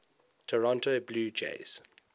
toronto blue jays